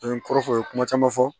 An ye kɔrɔ fɔ u ye kuma caman fɔ